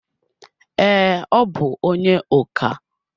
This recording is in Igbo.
Ee, ọ bu onye oka